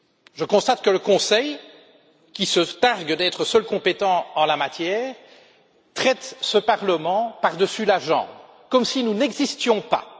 Je constate que le Conseil, qui se targue d'être seul compétent en la matière, traite ce Parlement par dessus la jambe, comme si nous n'existions pas!